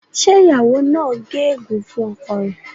ṣe ìyàwó nà gé egun fún ọkọ rẹ?